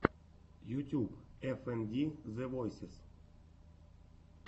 ютюб эф энд ди зэ войсез